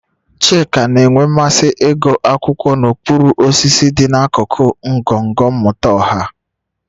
Chika na-enwe mmasị ịgụ akwụkwọ n'okpuru osisi dị n'akụkụ ngọngọ mmụta ọha